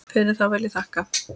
Fyrir það vil ég þakka.